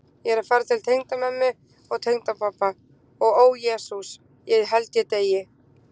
Ég er að fara til tengdamömmu og tengdapabba og ó Jesús, ég held ég deyi.